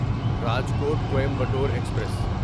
Rajkot Coimbatore express